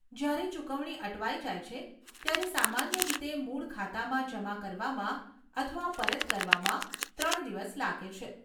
જ્યારે ચુકવણી અટવાઇ જાય છે, ત્યારે સામાન્ય રીતે મૂળ ખાતામાં જમા કરવામાં અથવા પરત કરવામાં ત્રણ દિવસ લાગે છે.